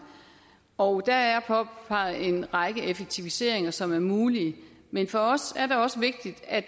og der er påpeget en række effektiviseringer som er mulige men for os er det også vigtigt at